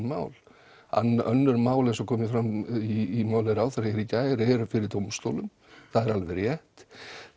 mál önnur mál eins og kom fram í máli ráðherra hér í gær eru fyrir dómstólum það er alveg rétt